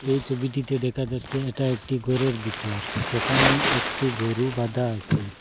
এই ছবিটিতে দেখা যাচ্চে এটা একটি গরের ভিতর সেখানে একটি গরু বাঁধা আসে।